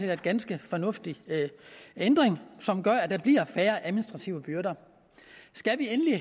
er en ganske fornuftig ændring som gør at der bliver færre administrative byrder skal vi endelig